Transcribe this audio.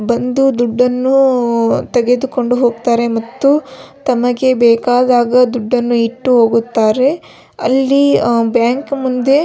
ಬಂದು ದುಡ್ಡನ್ನು ತೆಗೆದುಕೊಂಡು ಹೋಗುತ್ತಾರೆ ಮತ್ತು ತಮಗೆ ಬೇಕಾದಾಗ ದುಡ್ಡನ್ನು ಇಟ್ಟು ಹೋಗುತ್ತಾರೆ ಅಲ್ಲಿ ಅಹ್ ಬ್ಯಾಂಕ್ ಮುಂದೆ --